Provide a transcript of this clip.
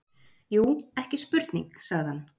Jú, ekki spurning, sagði hann.